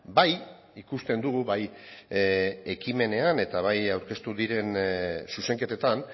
bai ikusten dugu bai ekimenean eta bai aurkeztu diren zuzenketetan